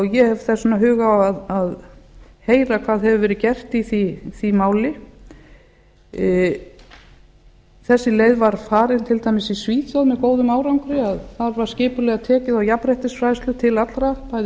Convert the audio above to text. ég hef þess vegna hug á að heyra hvað hefur verið gert í því máli þessi leið var farin til dæmis í svíþjóð með góðum árangri að þar var skipulega tekið á jafnréttisfræðslu til allra bæði